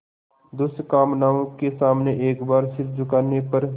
दुष्कामनाओं के सामने एक बार सिर झुकाने पर